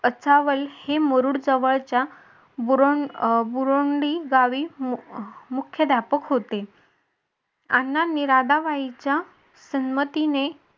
असावं हे मुरुड जवळच्या बुरोंडी गावी मुख्याध्यापक होते अण्णांनी राधाबाईंच्या संमतीने